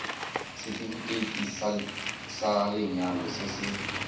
setefikeiti sa lenyalo se se